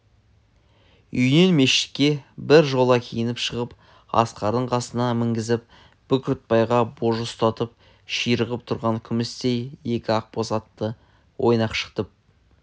үйінен мешітке бір жола киініп шығып асқарды қасына мінгізіп бүркітбайға божы ұстатып ширығып тұрған күмістей екі ақбоз атты ойнақшытып